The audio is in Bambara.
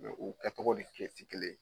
Mɛ u kɛ tɔgɔ de kɛ ti kelen ye